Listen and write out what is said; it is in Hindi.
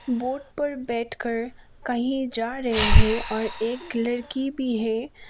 बोट पर बैठकर कहीं जा रहे हैं और एक लड़की भी है।